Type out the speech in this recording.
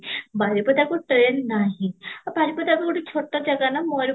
ବାରିପଦାକୁ train ନାହିଁ ଆଉ ବାରିପଦା ଭି ଗୋଟେ ଛୋଟ ଜାଗା ନା ମୟୁରବେଞ୍ଜ